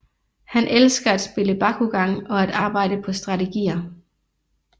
Han elsker at spille Bakugan og at arbejde på strategier